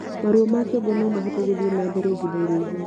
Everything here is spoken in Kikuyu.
Maruo ma kĩongo nomahote guthie nambere ihinda iraihu